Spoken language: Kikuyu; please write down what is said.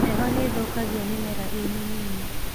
Heho nĩthũkagia mĩmera ĩmĩnini.